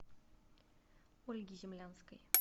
ольги землянской